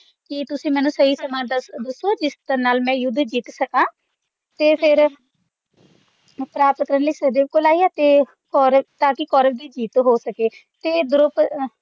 ਕਿ ਤੁਸੀਂ ਮੈਨੂੰ ਸਹੀ ਸਮਾਂ ਦੱਸੋ ਜਿਸਦੇ ਨਾਲ ਮੈਂ ਯੁੱਧ ਜਿੱਤ ਸਕਾਂ ਤੇ ਫੇਰ ਪ੍ਰਾਪਤ ਕਰਨ ਲਈ ਸਹਿਦੇਵ ਕੋਲ ਆਏ ਅਤੇ ਔਰ ਤਾਂ ਕਿ ਕੌਰਵ ਦੀ ਜਿੱਤ ਹੋ ਸਕੇ ਅਤੇ ਦਰੂਪ ਅਹ